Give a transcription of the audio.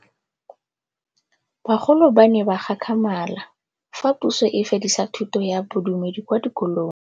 Bagolo ba ne ba gakgamala fa Pusô e fedisa thutô ya Bodumedi kwa dikolong.